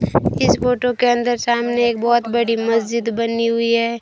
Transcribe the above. इस फोटो के अंदर सामने एक बहोत बड़ी मस्जिद बनी हुई है।